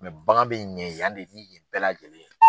bagan bɛ ɲɛ yan de yen bɛɛ lajɛlen ye